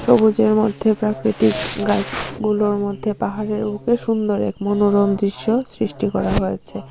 সবুজের মধ্যে প্রাকৃতিক গাছগুলোর মধ্যে পাহাড়ের বুকে সুন্দর এক মনোরম দৃশ্য সৃষ্টি করা হয়েছে।